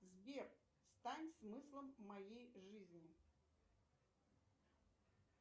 сбер стань смыслом моей жизни